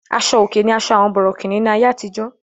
Aṣo-òkè ní àṣọ àwọn bòrọ̀kìní ní àyé àtìjọ́.